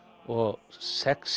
og sex